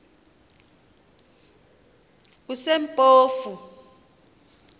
kusempofu